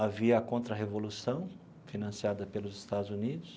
Havia a contra-revolução, financiada pelos Estados Unidos.